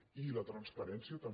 i la transparència també